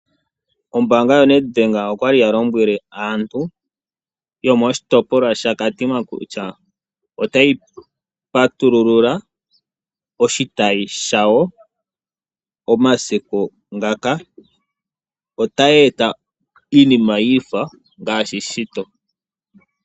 Ombaanga yo NedBank okwa li ya lombwele aantu yomoshitopolwa shaKatima kutya otayi patululula oshitayi shawo omasiku ngaka. Otayi eta iinima ya fa ngaashi shito.